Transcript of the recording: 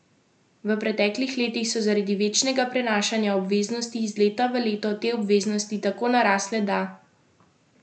V preteklih letih so zaradi večnega prenašanja obveznosti iz leta v leto te obveznosti tako narasle, da klub tega enostavno ni več zmogel.